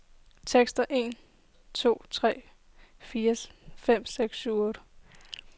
Tester en to tre fire fem seks syv otte.